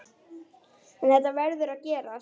En þetta verður að gerast.